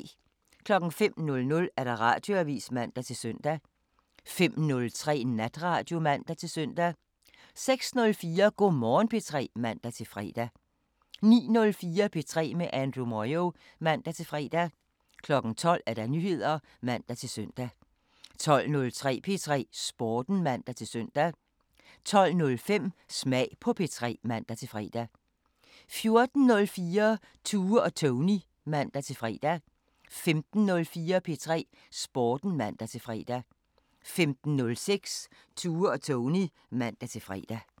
05:00: Radioavisen (man-søn) 05:03: Natradio (man-søn) 06:04: Go' Morgen P3 (man-fre) 09:04: P3 med Andrew Moyo (man-fre) 12:00: Nyheder (man-søn) 12:03: P3 Sporten (man-søn) 12:05: Smag på P3 (man-fre) 14:04: Tue og Tony (man-fre) 15:04: P3 Sporten (man-fre) 15:06: Tue og Tony (man-fre)